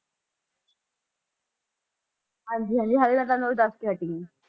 ਹਾਂਜੀ ਹਾਂਜੀ ਹਾਲੇ ਤਾਂ ਤੁਹਾਨੂੰ ਮੈਂ ਦੱਸ ਕੇ ਹਟੀ ਹਾਂ।